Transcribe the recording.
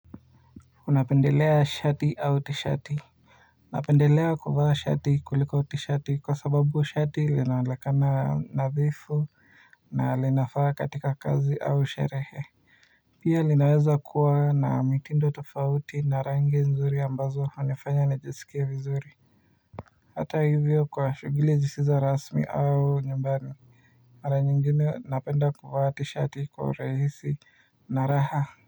Unapendelea shati au t-shati? Napendelea kuvaa shati kuliko t-shati kwa sababu shati linaonekana nadhifu na linafaa katika kazi au sherehe pia linaweza kuwa na mitindo tofauti na rangi nzuri ambazo hunifanya nijsikievizuri. Hata hivyo kwa shughuli zisizo rasmi au nyumbani, mara nyingine napenda kuvaa tishati kwa urahisi na raha.